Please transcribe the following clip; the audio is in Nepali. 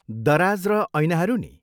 दराज र ऐनाहरू नि?